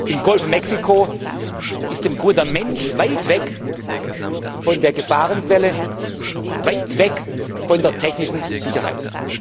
Im Golf von Mexiko ist der Mensch im Grunde weit weg von der Gefahrenquelle, weit weg von der technischen Sicherheit.